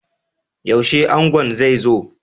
Yaushe angon zai zo?